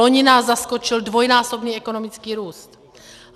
Loni nás zaskočil dvojnásobný ekonomický růst.